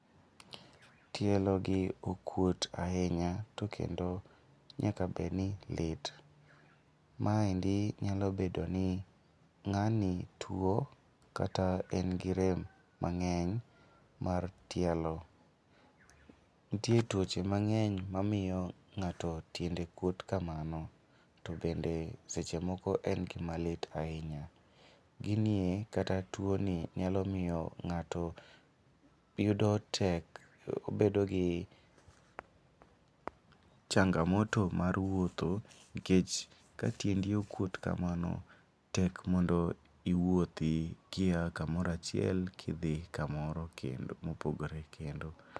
Tielogi okuot ahinya to kendo nyaka bedi lit, maendi nyalo bedo i ng'ani tuwo kata en gi rem mang'eny mar tielo. Nitie tuoche mang'eny mamiyo ng'ato tiende kuot kamao to bende en gima lit ahinya. gini e kata tuoni nyalo miyo ng'ato yudo tek, obedo gi changamoto mar wuotho nikech ka tiendi okuot kamano, tek mondo iwuothi kia kamoro achiel kidhi kamoro kendo mopogore kendo.